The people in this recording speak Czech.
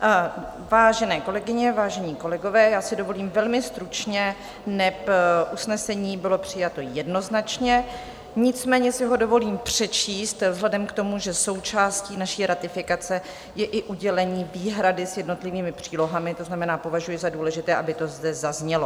Vážené kolegyně, vážení kolegové, já si dovolím velmi stručně, neb usnesení bylo přijato jednoznačně, nicméně si ho dovolím přečíst vzhledem k tomu, že součástí naší ratifikace je i udělení výhrady s jednotlivými přílohami, to znamená, považuji za důležité, aby to zde zaznělo.